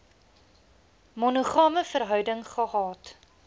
monogame verhouding gehad